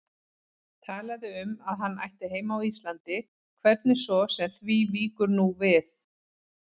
Talaði um að hann ætti heima á Íslandi, hvernig svo sem því víkur nú við.